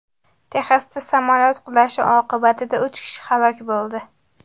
Texasda samolyot qulashi oqibatida uch kishi halok bo‘ldi.